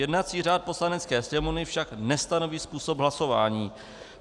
Jednací řád Poslanecké sněmovny však nestanoví způsob hlasování.